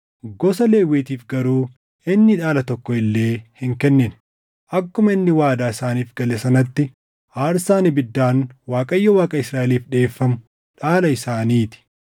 Gosa Lewwiitiif garuu inni dhaala tokko illee hin kennine; akkuma inni waadaa isaaniif gale sanatti aarsaan ibiddaan Waaqayyo Waaqa Israaʼeliif dhiʼeeffamu dhaala isaaniitii.